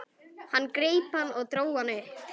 Hann greip hann og dró hann upp.